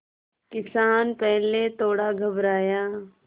किसान पहले थोड़ा घबराया